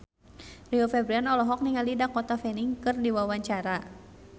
Rio Febrian olohok ningali Dakota Fanning keur diwawancara